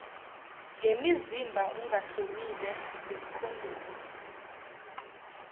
ngemizimba ungahlomile ngekhondomu